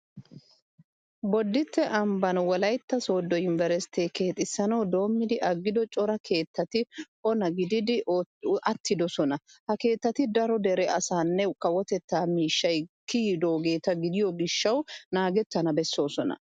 Bodditte ambban wolaytta sooddo yunveresttee keexissanawu doommidi aggido cora keettati ona gididi attidosona. Ha keettati daro dere asaanne kawotettaa miishshay kiyidoogeeta gidiyo gishshawu naagettana bessoosona.